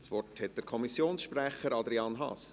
Das Wort hat der Kommissionssprecher, Adrian Haas.